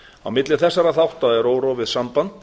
á milli þessara þátta er órofið samband